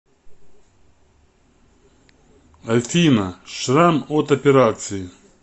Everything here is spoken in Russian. афина шрам от операции